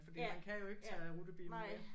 Fordi man kan jo ikke tage rutebilen mere